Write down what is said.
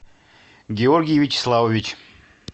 георгий вячеславович